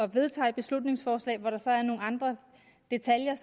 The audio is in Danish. vedtager et beslutningsforslag hvori der er nogle andre detaljer